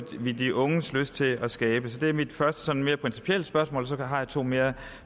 vi de unges lyst til at skabe det er mit første sådan mere principielle spørgsmål så har jeg to mere